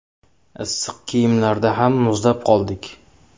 Issiq kiyimlarda ham muzlab qoldik.